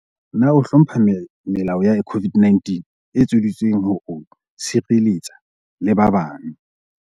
Na o hlompha melao ya COVID-19 e etseditsweng ho o sireletsa le ba bang?